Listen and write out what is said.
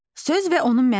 Söz və onun mənası.